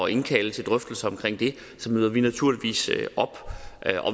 indkalde til drøftelser omkring det møder vi naturligvis op